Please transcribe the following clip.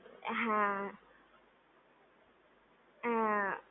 હા હા